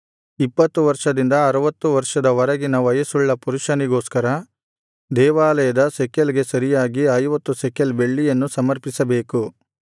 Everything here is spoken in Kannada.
ಇಪ್ಪತ್ತು ವರ್ಷದಿಂದ ಅರುವತ್ತು ವರ್ಷದ ವರೆಗಿನ ವಯಸ್ಸುಳ್ಳ ಪುರುಷನಿಗೋಸ್ಕರ ದೇವಾಲಯದ ಶೆಕೆಲ್ ಗೆ ಸರಿಯಾಗಿ ಐವತ್ತು ಶೆಕೆಲ್ ಬೆಳ್ಳಿಯನ್ನು ಸಮರ್ಪಿಸಬೇಕು